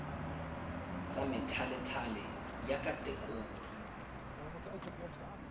tsa methalethale ya khatekori b